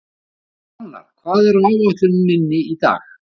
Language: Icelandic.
Hrannar, hvað er á áætluninni minni í dag?